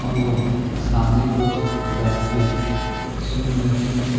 और वह सामने कुछ बैठके सुन रहे हैं।